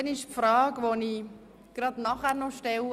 Dann möchte ich gleich noch eine zweite Frage stellen: